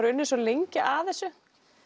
unnið svo lengi að þessu